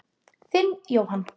Þinn Jóhann.